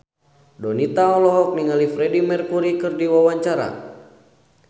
Donita olohok ningali Freedie Mercury keur diwawancara